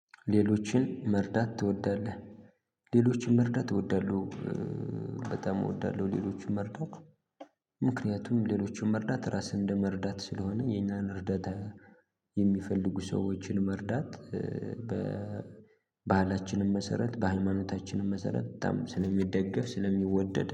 ሌሎችን መርዳት ትወዳለህ? ሌሎችን መርዳት እወዳለሁ። በጣም እወዳለሁ ሌሎችን መርዳት። ምክንያቱም ሌሎችን መርዳት ራስህን እንደመርዳት ስለሆነ የኛን እርዳታ የሚፈልጉ ሰዎችን መርዳት። በባህላችንም መሰረት በሃይማኖታችንም መሰረት በጣም ስለሚደገፍ ስለሚወደድ